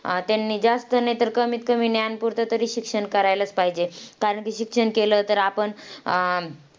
अं त्यांनी जास्त नाही तर कमीत कमी ज्ञान पुरत तरी शिक्षण करायलाच पाहिजे. कारण की शिक्षण केलं तर आपण, अं